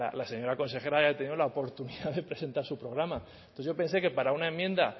la señora consejera haya tenido la oportunidad de presentar su programa entonces yo pensé que para una enmienda